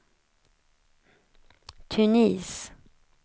Tunis